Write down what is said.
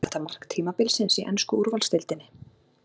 Er þetta mark tímabilsins í ensku úrvalsdeildinni?